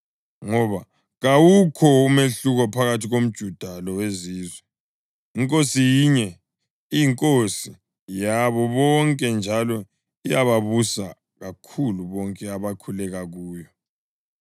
Ngoba kawukho umahluko phakathi komJuda loweZizwe, iNkosi yinye iyiNkosi yabo bonke njalo iyababusisa kakhulu bonke abakhuleka kuyo,